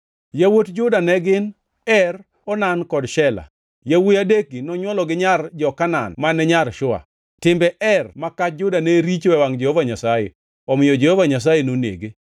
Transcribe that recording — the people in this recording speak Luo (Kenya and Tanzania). Yawuot Juda ne gin: Er, Onan kod Shela. Yawuowi adekgi nonywolo gi nyar jo-Kanaan mane nyar Shua. (Timbe Er ma kach Juda ne richo e wangʼ Jehova Nyasaye, omiyo Jehova Nyasaye nonege.)